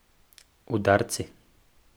Udarci.